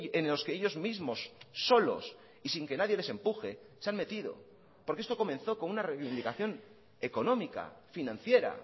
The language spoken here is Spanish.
en los que ellos mismos solos y sin que nadie les empuje se han metido porque esto comenzó con una reivindicación económica financiera